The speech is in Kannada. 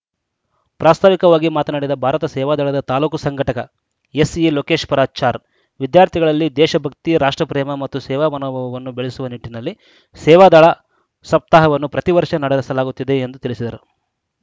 ಪ್ರಾಸ್ತಾವಿಕವಾಗಿ ಮಾತನಾಡಿದ ಭಾರತ ಸೇವಾದಳದ ತಾಲೂಕು ಸಂಘಟಕ ಎಸ್‌ಈ ಲೋಕೇಶ್ವರಾಚಾರ್‌ ವಿದ್ಯಾರ್ಥಿಗಳಲ್ಲಿ ದೇಶಭಕ್ತಿ ರಾಷ್ಟ್ರಪೇಮ ಮತ್ತು ಸೇವಾಮನೋಭಾವವನ್ನು ಬೆಳೆಸುವ ನಿಟ್ಟಿನಲ್ಲಿ ಸೇವಾದಳ ಸಪ್ತಾಹವನ್ನು ಪ್ರತಿವರ್ಷ ನಡೆಸಲಾಗುತ್ತಿದೆ ಎಂದು ತಿಳಿಸಿದರು